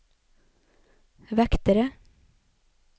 vektere